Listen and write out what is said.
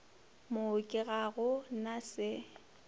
mooki ga go na se